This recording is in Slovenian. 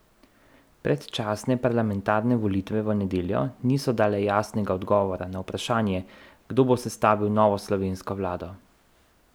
Predčasne parlamentarne volitve v nedeljo niso dale jasnega odgovora na vprašanje, kdo bo sestavil novo slovensko vlado.